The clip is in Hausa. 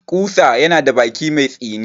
Ƙusa yana da baki mai tsini.